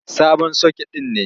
Sabon soket ɗin ne.